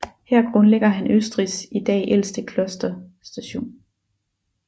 Her grundlægger han Østrigs i dag ældste Kloster St